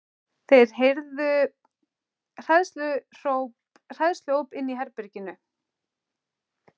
Þeir heyrðu hræðsluóp inni í herberginu.